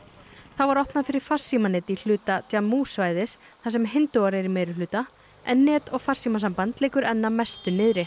þá var opnað var fyrir farsímanet í hluta svæðisins þar sem hindúar eru í meirihluta en net og farsímasamband liggur enn að mestu niðri